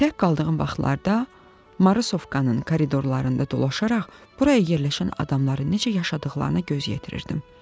Tək qaldığım vaxtlarda Marısovkanın koridorlarında dolaşaraq buraya yerləşən adamların necə yaşadıqlarına göz yetirirdim.